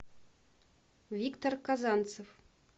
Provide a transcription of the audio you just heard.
виктор казанцев